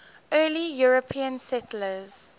early european settlers